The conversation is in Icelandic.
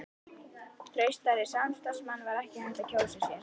Traustari samstarfsmann var ekki hægt að kjósa sér.